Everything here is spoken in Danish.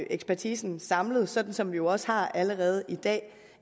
ekspertisen samlet sådan som vi jo også har det allerede i dag